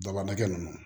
Daba kɛ nunnu